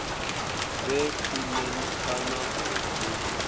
vhe khwine kana u mu